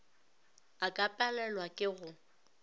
a ka palelwa ke go